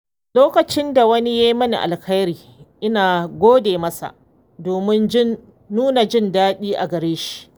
Lokacin da wani ya yi mini alheri, ina gode masa domin nuna jin daɗina a gare shi.